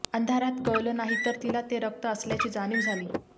अंधारात कळलं नाही तरी तिला ते रक्त असल्याची जाणीव झाली